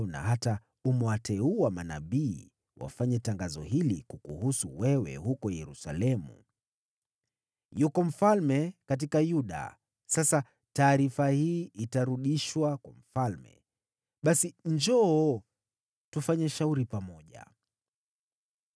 na hata umewateua manabii wafanye tangazo hili kukuhusu wewe huko Yerusalemu: ‘Yuko mfalme katika Yuda!’ Sasa taarifa hii itarudishwa kwa mfalme. Basi njoo, tufanye shauri pamoja.”